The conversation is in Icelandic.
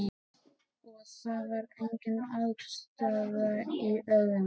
Og það var engin aðstaða í Ögri.